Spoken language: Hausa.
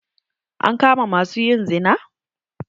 An kama ma su yin zina?